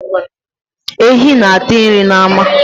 Ehi na-ata nri n'ama.